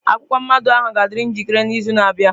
Akwụkwọ mmado ahụ ga-adịriri njikere n'izu na-abịa.